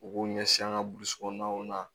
U b'u ɲɛsin an ka burusi kɔnɔnaw na